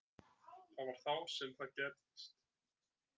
Það var þá sem það gerðist.